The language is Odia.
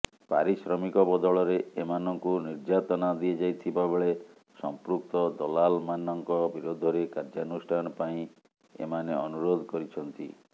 ପାରିଶ୍ରମିକ ବଦଳରେ ଏମାନଙ୍କୁ ନିର୍ଯାତନା ଦିଆଯାଇଥିବା ବେଳେ ସମ୍ପୃକ୍ତ ଦଲାଲମାନଙ୍କ ବିରୋଧରେ କାର୍ଯ୍ୟାନୁଷ୍ଠାନ ପାଇଁ ଏମାନେ ଅନୁରୋଧ କରିଛନ୍ତି